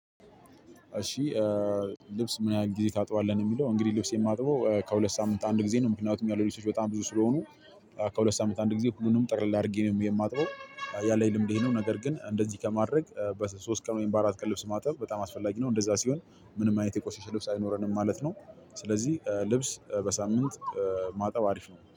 እሺ። ልብስ ምን ያህል ግዜ ታጥባለህ ነው ሚለው? እንግድህ ልብሴን ማጥበው ከሁለት ሳምንት አንድ ግዜ ነው ምክኛቱም ያሉኝ ልብሶች በጣም ብዙ ስለሆኑ። ከሁለት ሳምንት አንድ ጊዜ ሁሉንም ጠቅለል አድርጌ ነው የማጥበው። ያለኝ ልምድ ይሄ ነው ነገር ግን እንደዚህ ከማድረግ በሶስት ቀን ወይም በአራት ቀን ልብስ ማጠብ በጣም አስፈላጊ ነው። እንደዛ ሲሆን ምንም አይነት የቆሸሸ ልብስ አይኖረንም ማለት ነው። ስለዚህ ልብስ በሳምንት ማጠብ አሪፍ ነው